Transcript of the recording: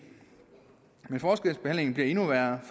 men forskelsbehandlingen bliver endnu værre